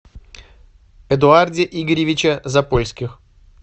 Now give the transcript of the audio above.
эдуарде игоревиче запольских